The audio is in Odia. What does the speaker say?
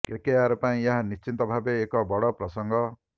କେକେଆର ପାଇଁ ଏହା ନିଶ୍ଚିତ ଭାବେ ଏକ ବଡ଼ ପ୍ରସଙ୍ଗ